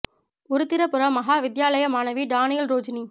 உருத்திரபுர மகா வித்தியாலய மாணவி டானியல் றோஜினி